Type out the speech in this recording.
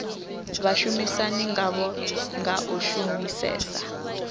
vhashumisani ngavho nga u shumisesa